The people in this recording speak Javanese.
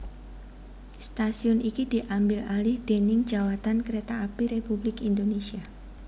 Stasiun iki diambil alih déning Djawatan Kereta Api Republik Indonesia